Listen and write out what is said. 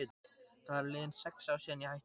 Það eru liðin sex ár síðan ég hætti.